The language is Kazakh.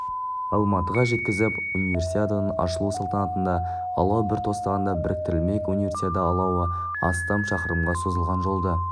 алматыға жеткізіп универсиаданың ашылу салтанатында алау бір тостағанда біріктірілмек универсиада алауы астам шақырымға созылған жолды